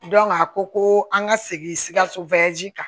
a ko ko an ka segin sikaso kan